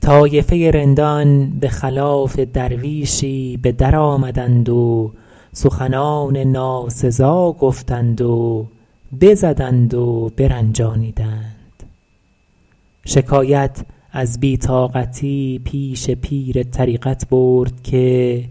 طایفه رندان به خلاف درویشی به در آمدند و سخنان ناسزا گفتند و بزدند و برنجانیدند شکایت از بی طاقتی پیش پیر طریقت برد که